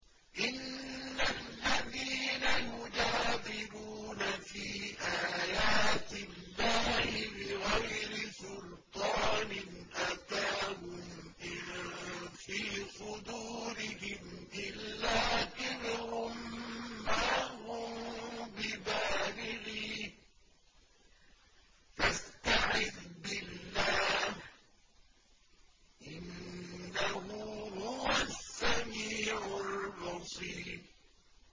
إِنَّ الَّذِينَ يُجَادِلُونَ فِي آيَاتِ اللَّهِ بِغَيْرِ سُلْطَانٍ أَتَاهُمْ ۙ إِن فِي صُدُورِهِمْ إِلَّا كِبْرٌ مَّا هُم بِبَالِغِيهِ ۚ فَاسْتَعِذْ بِاللَّهِ ۖ إِنَّهُ هُوَ السَّمِيعُ الْبَصِيرُ